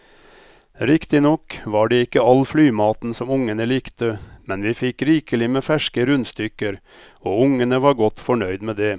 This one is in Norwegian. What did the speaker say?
Riktignok var det ikke all flymaten som ungene likte, men vi fikk rikelig med ferske rundstykker og ungene var godt fornøyd med det.